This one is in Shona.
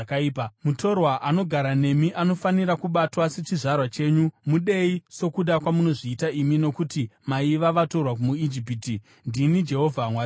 Mutorwa anogara nemi anofanira kubatwa sechizvarwa chenyu. Mudei sokuda kwamunozviita imi nokuti maiva vatorwa muIjipiti. Ndini Jehovha Mwari wenyu.